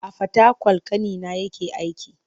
A Fatakwal ƙanina yake aiki.